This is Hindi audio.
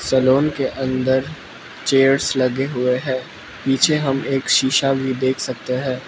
सलून के अंदर चेयर्स लगे हुए है पीछे हम एक शीशा भी देख सकते है।